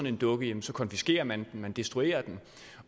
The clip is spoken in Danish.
en dukke konfiskerer man den destruerer den